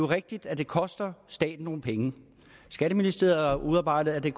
rigtigt at det koster staten nogle penge skatteministeriet har udarbejdet at det